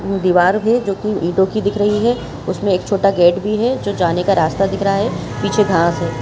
ये दिवार है जो की ईटों की दिख रही है उसमे एक छोटा गेट भी है जो जाने का रास्ता दिख रहा है पीछे घास है।